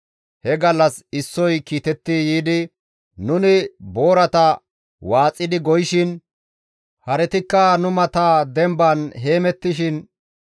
He gallas issoy kiitetti yiidi, «Nuni boorata waaxidi goyishin; haretikka nu mata demban heemettishin,